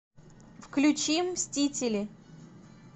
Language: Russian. включи мстители